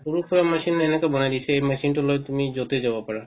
সৰু সুৰা machine বনায় দিছে এই machine টো লৈ তুমি যতে যাৱ পাৰা